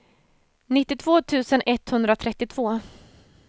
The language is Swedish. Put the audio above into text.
nittiotvå tusen etthundratrettiotvå